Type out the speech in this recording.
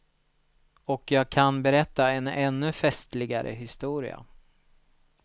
Och jag kan berätta en ännu festligare historia.